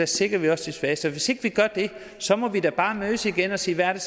sikrer vi også de svageste og hvis ikke vi gør det så må vi da bare mødes igen og sige hvad